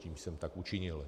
Tímto jsem tak učinil.